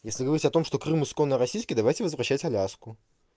если говорить о том что крым исконно российский давайте возвращать аляску